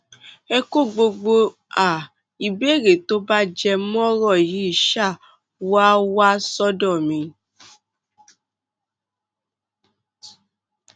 ẹ kó gbogbo um ìbéèrè tó bá jẹ mọ ọrọ yìí um wá wá sọdọ mi